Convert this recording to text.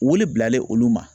Wele bilalen olu ma